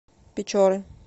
печоры